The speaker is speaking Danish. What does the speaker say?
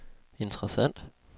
interessant